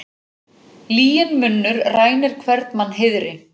Lyginn munnur rænir hvern mann heiðri.